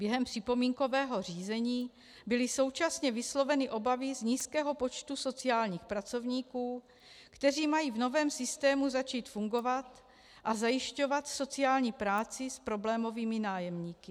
Během připomínkového řízení byly současně vysloveny obavy z nízkého počtu sociálních pracovníků, kteří mají v novém systému začít fungovat a zajišťovat sociální práci s problémovými nájemníky.